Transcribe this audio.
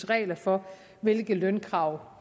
regler for hvilke lønkrav